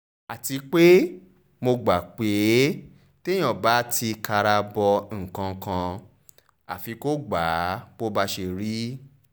àti pé mo gbà pé téèyàn bá ti kara bọ nǹkan kan àfi kó gbà bó bá ṣe rí